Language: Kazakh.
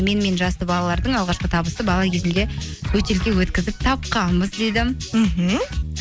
менімен жасты балалардың алғашқы табысы бала кезімде бөтелке өткізіп тапқанбыз дейді мхм